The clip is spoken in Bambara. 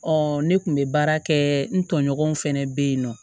ne kun be baara kɛ n tɔɲɔgɔnw fɛnɛ be yen nɔ